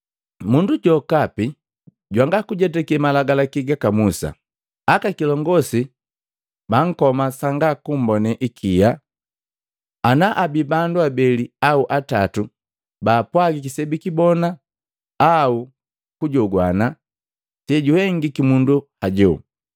Mundu jokapi jwanga kujetake malagalaki gaka Musa, akakilongosi bankoma sanga kummbone hikia ana abii bandu abeli au atatu baapwagiki sebikibona au kujogwana sejuhengiki mundu haju.